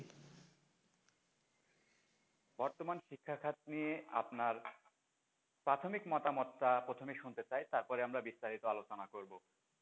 বর্তমান শিক্ষার খাত নিয়ে আপনার প্রাথমিক মতামতটা প্রথমে শুনতে চাই তারপরে আমরা বিস্তারিত আলোচনা করব।